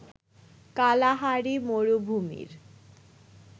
Kalahari মরুভূমির